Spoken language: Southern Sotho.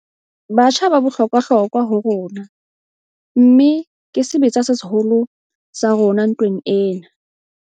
Batjha ba bohlokwahlokwa ho rona, mmeke sebetsa se seholo sa rona ntweng ena.